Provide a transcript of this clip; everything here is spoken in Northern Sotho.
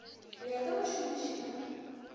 go ya go bašomiši ba